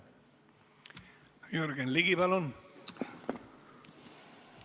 Jürgen Ligi, palun!